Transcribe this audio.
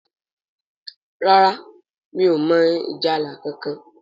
ràrá mí ọ mọ ìjálá kánkan.